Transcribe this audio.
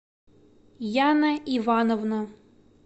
яна ивановна